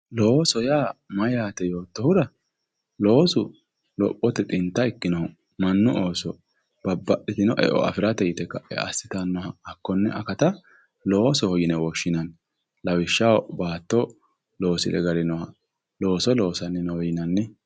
Looso yaa mayate yoottohura, loosu lophote xinta ikkinoho mannu ooso eo afirate yite kae assittanoha hakkone akatta loosoho yinne woshshinanni lawishshaho baatto loosire galinoha looso loossani noowe yinnanni.